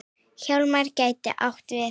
Hjálmar gæti átt við